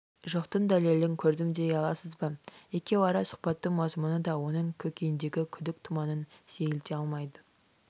жоқтың дәлелін көрдім дей аласыз ба екеуара сұхбаттың мазмұны да оның көкейіндегі күдік тұманын сейілте алмайды